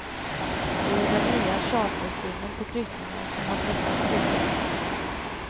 Det är den nya chartersynen på kryssningar som har pressat priserna.